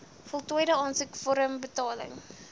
voltooide aansoekvorm betaling